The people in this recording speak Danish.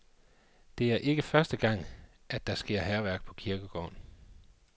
Det er ikke første gang, at der sker hærværk på kirkegården.